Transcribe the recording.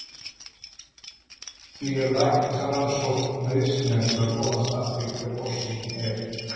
Því er læknisrannsókn nauðsynleg til að komast að því hver orsökin er.